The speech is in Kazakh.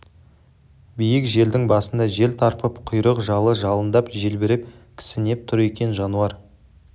биік жардың басында жер тарпып құйрық-жалы жалындап желбіреп кісінеп тұр екен жануар